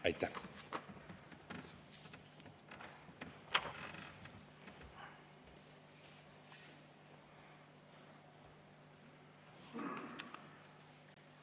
Aitäh!